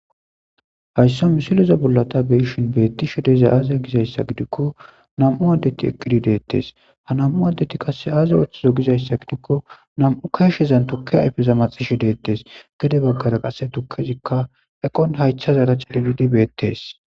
Hayisa misileza bollan tan xelishin betizays aze gida gidiko na'mu adey betes ha na'mu adeti azi othizo gidaysagidiko na'mu keshezan tuke ayipe maxishe de'etes gede bagara qa tukezika eqon hayithaza cegidi betes